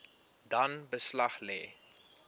dan beslag lê